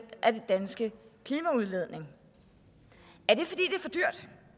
af den danske klimaudledning er det fordi